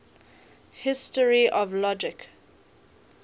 history of logic